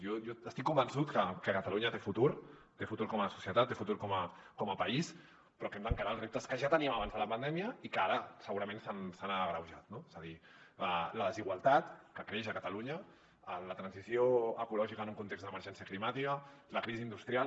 jo estic convençut que catalunya té futur té futur com a societat té futur com a país però que hem d’encarar els reptes que ja teníem abans de la pandèmia i que ara segurament s’han agreujat no és a dir la desigualtat que creix a catalunya la transició ecològica en un context d’emergència climàtica la crisi industrial